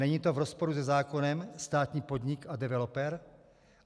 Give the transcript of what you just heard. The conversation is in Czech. Není to v rozporu se zákonem - státní podnik a developer?